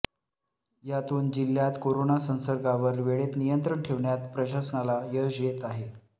यातून जिल्हयात कोरोना संसर्गावर वेळेत नियंत्रण ठेवण्यात प्रशासनाला यश येत आहे